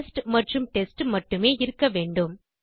test மற்றும் test மட்டுமே இருக்க வேண்டும்